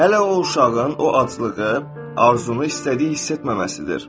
Hələ o uşağın o aclığı, arzunu istədiyi hiss etməməsidir.